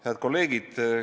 Head kolleegid!